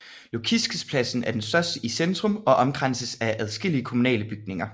Lukiškėspladsen er den største i centrum og omkranses af adskillige kommunale bygninger